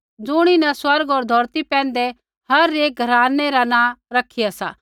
ज़ुणीन स्वर्ग होर धौरती पैंधै हर एक घरानै रा नाँ रखिया सा